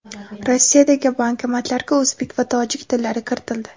Rossiyadagi bankomatlarga o‘zbek va tojik tillari kiritildi.